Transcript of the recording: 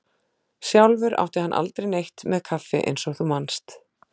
Sjálfur átti hann aldrei neitt með kaffi eins og þú manst.